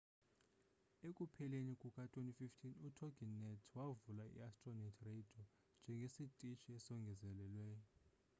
ekupheleni kuka-2015 utoginet wavula iastronet radio njengesitishi esongezelelweyo